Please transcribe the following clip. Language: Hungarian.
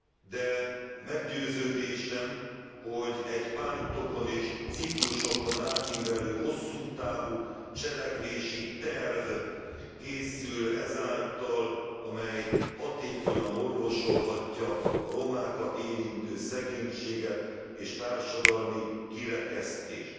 De meggyőződésem, hogy egy pártokon és ciklusokon átívelő, hosszú távú cselekvési terv készül ezáltal, amely hatékonyan orvosolhatja a romákat érintő szegénységet és társadalmi kirekesztést.